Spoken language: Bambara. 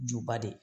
Juba de